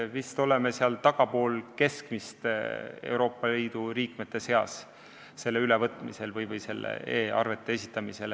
Vist oleme e-arvete esitamise poolest Euroopa Liidu liikmete seas tagapool keskmist.